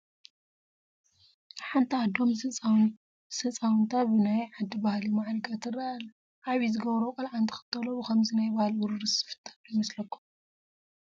ሓንቲ ኣዶ ምስ ህፃውንታ ብናይ ዓዲ ባህሊ ማዕሪጋ ትርአ ኣለ፡፡ ዓብዪ ዝገብሮ ቆልዓ እንትኽተሎ ብኸምዚ ናይ ባህሊ ውርርስ ዝፍጠር ዶ ይመስለኹም?